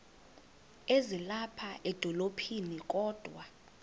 ezilapha edolophini kodwa